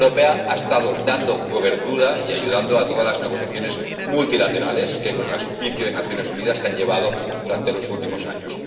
La Unión Europea ha estado dando cobertura y ayudando a todas las negociaciones multilaterales que, con el auspicio de Naciones Unidas, se han llevado durante los últimos años.